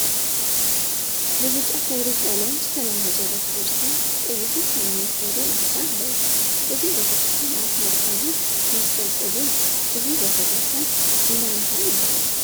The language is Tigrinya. ብብጫ ሕብሪ ቀለም ዝተለመፀ ቤተ ክርስትያን ቀይሕን ሰማያዊን ሕብሪ ማዕፆ አለዎ፡፡ እዚ ቤተ ክርስትያን አብ ማእከሉ መስቀል ስእሊይርከብ፡፡ እዚ ቤተ ክርስትያን እንዳ እንታይ ይበሃል?